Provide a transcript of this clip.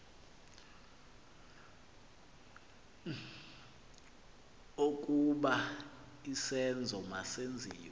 okokuba isenzo masenziwe